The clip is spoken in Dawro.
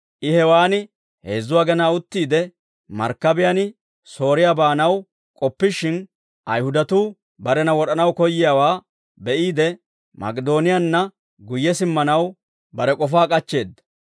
I hewaan heezzu agenaa uttiide, markkabiyaan Sooriyaa baanaw k'oppishin, Ayihudatuu barena wod'anaw koyyiyaawaa be'iide, Mak'idooniyaanna guyye simmanaw bare k'ofaa k'achcheedda.